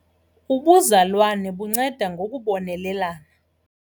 Ubuzalwane bunceda ngokubonelelana.